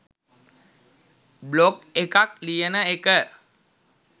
blog එකක් ලියන එක